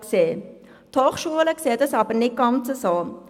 Die Hochschulen sehen dies jedoch nicht gleich: